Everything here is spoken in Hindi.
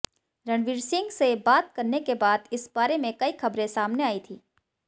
रणवीर सिंह से बात करने के बाद इस बारे में कई खबरें सामने आई थी